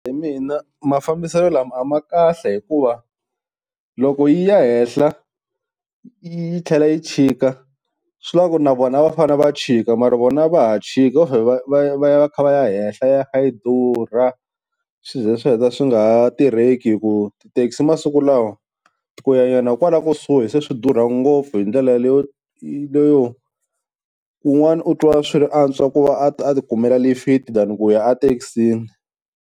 Hi mina mafambiselo lama a ma kahle hikuva, loko yi ya henhla yi tlhela yi chika swivula ku na vona va fane va chika mara vona a va ha chika vo vhe va ya va ya kha va ya henhla yi ya kha yi durha swi ze swi heta swi nga ha tirheki, hi ku ti-taxi masiku lawa ku ya nyana kwala kusuhi se swi durha ngopfu hi ndlela leyo, leyo un'wani u twa swi antswa ku va a ti kumela lifiti than ku ya ethekisini.